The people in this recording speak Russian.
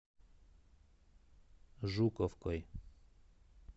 жуковкой